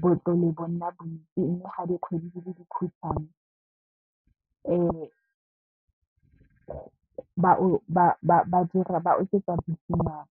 botlole bo nna bontsi mme, ga dikgwedi di le dikhutswane ba oketsa bikinyana.